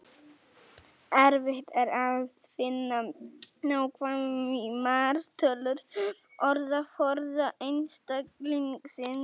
Erfitt er að finna nákvæmar tölur um orðaforða einstaklingsins.